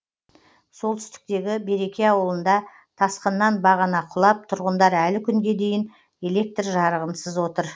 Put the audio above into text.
солтүстіктегі береке ауылында тасқыннан бағана құлап тұрғындар әлі күнге дейін электр жарығынсыз отыр